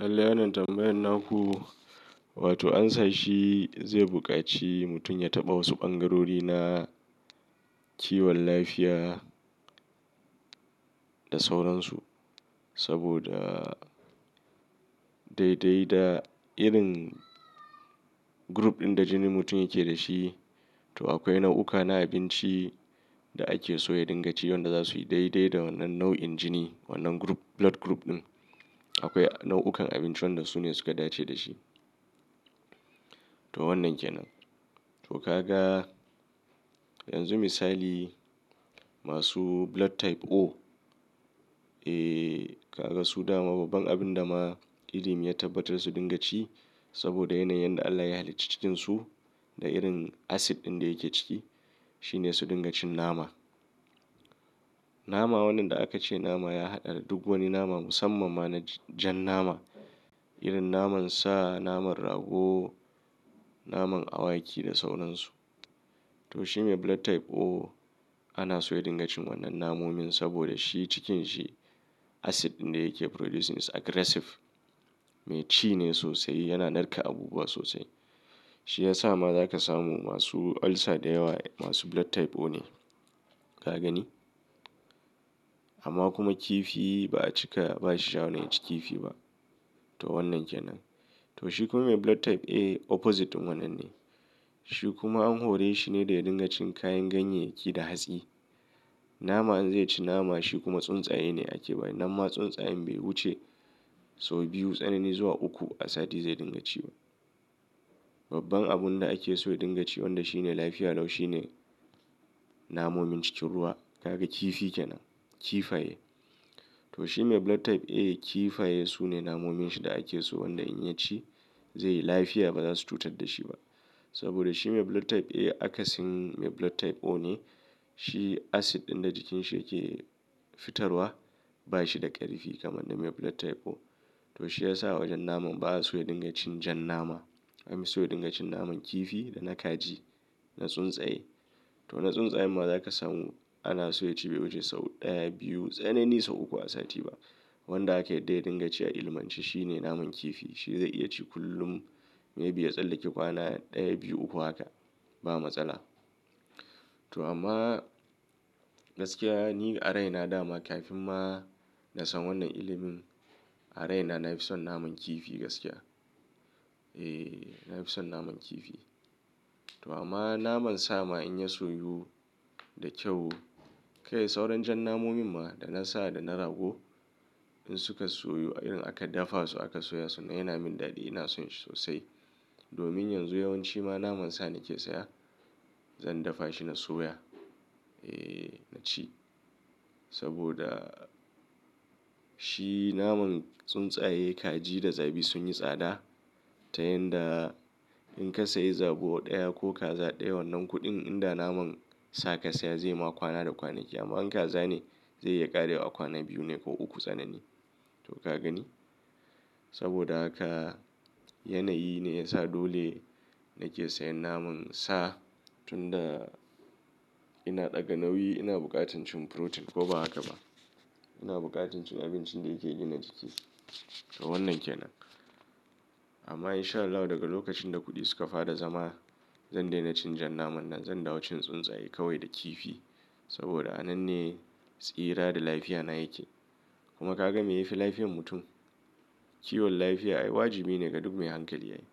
Allah wannan tambayan na ku, wato amsan shi zai buƙaci mutum ya taɓa wasu ɓangarori na kiwon lafiya da sauransu. Saboda daidai da irin group ɗin da jinin mutum yake da shi, to akwai nau'uka na abinci da ake so ya dinga ci wanda za su yi daidai da wannan nau'in jini. Wannan group, blood group ɗin. Akwai nau'ukan abinci wanda su ne suka dace da shi. To wannan ke nan. To kaga yanzu misali masu blood type O, eh kaga su da ma babban abin da ma ilimin ya tabbatar su dinga ci saboda yanayin da Allah ya halicci cikin su da irin acid ɗin da yake ciki shi ne su dinga cin nama. Nama wannan da aka ce nama ya haɗa da duk wani nama musamman ma na jan nama. Irin naman sa, naman rago, naman awaki da sauransu. To shi mai blood type O ana so ya dinga cin wannan namomin saboda shi cikin sa acid ɗin da yake producing is aggressive, mai ci ne sosai, yana narka abubuwa sosai. Shi ya sa ma za ka samu masu ulcer da yawa masu blood type O ne. Ka gani? Amma kuma kifi ba a cika ba shi shawarin ya ci kifi ba. To wannan ke nan. To shi kuma mai blood type A opposite wannan ne. Shi kuma an hore shi ne da ya dinga cin kayan ganyyayki da hatsi. Nama in zai ci nama shi kuma tsuntsaye ne ake ba shi. Nan ma tsuntsayen bai wuce sau biyu, tsanani zuwa uku a sati zai din ga ci ba. Babban abun da ake so ya dinga ci wanda shi ne lafiya lau shi ne namomin cikin ruwa. Kaga kifi kenan, kifaye to shi mai blood type A kifaye su ne namomin shi da ake so wanda in ya ci zai yi lafiya ba za su cutar da shi ba. Saboda shi mai blood type A akasin mai blood type O ne. Shi acid ɗin da jikin shi yake fitarwa ba shi da ƙarfi kamar na mai blood type O. To shi ya sa a wajen naman ba a so ya dinga cin jan nama. An so ya dinga cin naman kifi da na kaji, na tsuntsaye. To na tsuntsayen ma za ka samu ana so ya ci bai wuce sau ɗaya, biyu, tsanani sau uku a sati ba. Wanda aka yadda ya dinga ci a ilimance shi ne naman kifi. Shi zai iya ci kullum maybe ya tsallake kwana ɗaya, biyu, uku haka ba matsala. To amma gaskiya ni a raina dama kafin ma na san wannan ilimin a raina na fi son naman kifi gaskiya. Eh, na fi son naman kifi. To amma naman sa ma in ya soyu da kyau, kai sauron jan namomin ma da na sa da na rago in suka soyu irin aka dafa su aka soya su nan y ana min daɗi ina son shi sosai. Domin yanzu yawanci ma naman sa nake saya zan dafa shi na soya. Eh na ci saboda shi naman tsuntsaye, kaji da zabi sun yi tsada. Ta yanda in ka sayi zabo ɗaya ko kaza ɗaya wannan kuɗin inda naman sa ka saya zai ma kwana da kwanaki. Amma in kaza ne zai iya ƙarewa a kwana biyu ne ko uku tsanani. To ka gani? Saboda haka yanayi ne ya sa dole nake sayan naman sa tun da ina ɗaga nauyi ina buƙatar cin protein ko ba haka ba. Ina buƙatar cin abincin da yake gina jiki. To wannan ke nan. Amma in sha Allah daga lokacin da kuɗi suka fara zama zan daina cin jan naman nan zan dawo cin tsuntsaye kawai da kifi. Saboda a nan ne tsira da lafiya na yake. Kuma ka ga me yafi lafiyan mutum? Kiwon lafiya ai wajibi ne ga duk mai hankali yayi.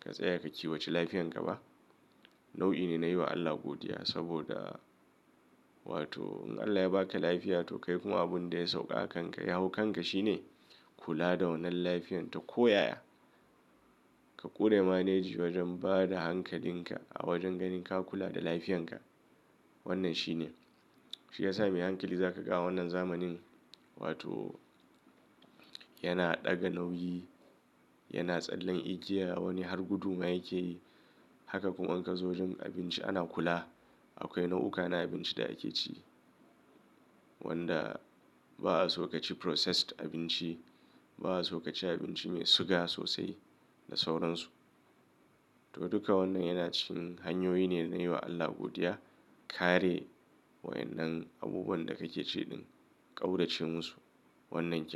Ka tsaya ka kiwace lafiyan ka ba nau'i ne na yi wa Allah godiya saboda wato in Allah ya baka lafiya to kai kuma abun da ya sauƙa akanka. Ya hau kan ka shi ne kula da wannan lafiyan ta ko ya ya. Ka ƙure maleji wajen bada hankalin ka a wajen ganin ka kula da lafiyan ka. Wannan shi ne. Shi ya sa mai hankali za ka ga a wannan zamanin wato yana ɗaga nauyi, yana tsallan igiya wani har gudu ma yake yi. Haka kuma in ka zo wajen abinci ana kula. Akwai nau'uka na abinci da ake ci wanda ba'a so ka ci processed abinci, ba'a so ka ci abinci mai suga sosai da sauransu. To duka wannan yana cikin hanyoyi ne na yi wa Allah godiya. Kare waƴannan abubuwan da kake ci ɗin, ƙaurace mu su. Wannan yake.